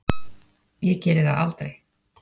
Ég geri það aldrei.